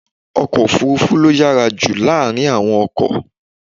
Ọkọ̀ òfúrúfú ló yára jù láàárín àwọn ọkọ̀.